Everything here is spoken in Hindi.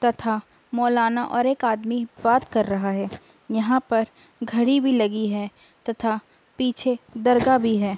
तथा मोलाना और एक आदमी बात कर रहा है यहाँ पर घड़ी भी लगी है तथा पीछे दरगाह भी है।